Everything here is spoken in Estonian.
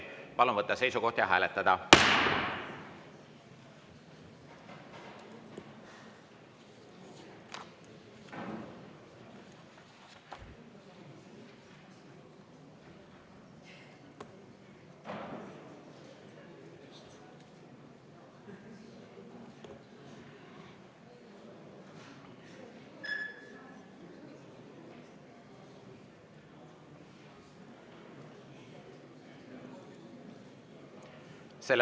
Palun võtta seisukoht ja hääletada!